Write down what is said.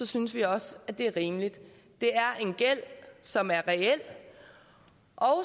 synes vi også det er rimeligt det er en gæld som er reel og